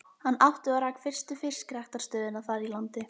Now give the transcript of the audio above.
Hann átti og rak fyrstu fiskræktarstöðina þar í landi.